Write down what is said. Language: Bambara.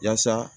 Yaasa